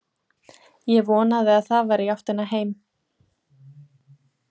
Ég vonaði að það væri í áttina heim.